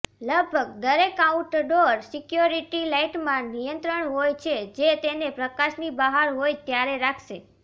લગભગ દરેક outdoor security લાઇટમાં નિયંત્રણ હોય છે જે તેને પ્રકાશની બહાર હોય ત્યારે રાખશે